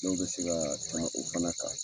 Dɔw bɛ se ka tɛmɛ o fana kan.